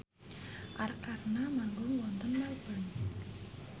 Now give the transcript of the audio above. Arkarna manggung wonten Melbourne